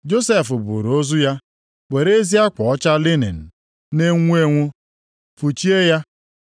Josef buuru ozu ya, were ezi akwa ọcha linin na-enwu enwu fụchie ya,